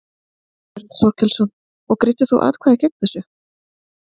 Björn Þorláksson: Og greiddir þá atkvæði gegn þessu?